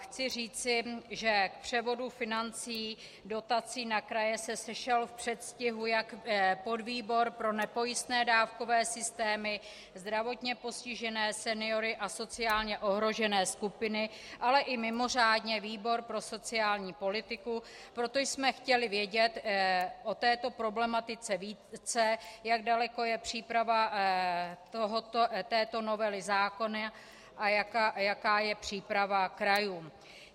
Chci říci, že k převodu financí, dotací na kraje se sešel v předstihu jak podvýbor pro nepojistné dávkové systému, zdravotně postižené seniory a sociálně ohrožené skupiny, ale i mimořádně výbor pro sociální politiku, protože jsme chtěli vědět o této problematice více, jak daleko je příprava této novely zákona a jaká je příprava krajů.